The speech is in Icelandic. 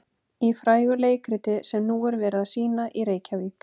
Í frægu leikriti sem nú er verið að sýna í Reykjavík.